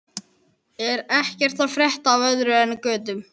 Er ekkert að frétta af öðru en götum?